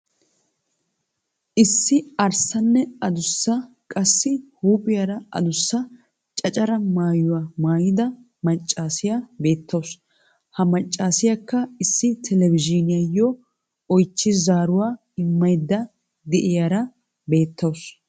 Issi arssanne addussa qassi huuphphiyaara adussa cacara maayuya maayida maccaassiya beettawusu. Ha maccaassiyakka issi televizhzhiniyayo oychi zaaruwaa immayda de'iiyara beetawusu.